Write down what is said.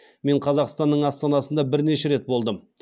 мен қазақстаның астанасында бірнеше рет болдым